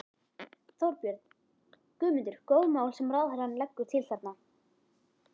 Þorbjörn: Guðmundur, góð mál sem ráðherrann leggur til þarna?